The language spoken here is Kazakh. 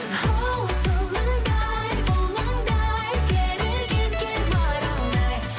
хоу сылаңдай бұлаңдай керілген кер маралдай